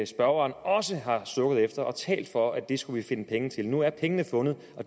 spørgeren også har sukket efter det og talt for at det skulle vi finde penge til nu er pengene fundet